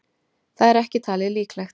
Það er ekki talið líklegt.